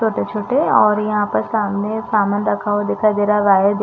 छोटे-छोटे और यहाँ पर सामने सामान रखा हुआ दिखाई दे रहा है वायर्ड --